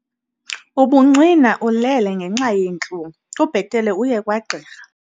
Ubuncwina ulele ngenxa yeentlungu kubhetele uye kwagqirha.